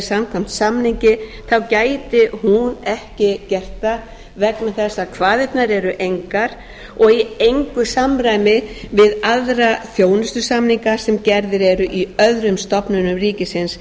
samkvæmt samningi þá gæti hún ekki gert það vegna þess að kvaðirnar eru engar og í engu samræmi við aðra þjónustusamninga sem gerðir eru í öðrum stofnunum ríkisins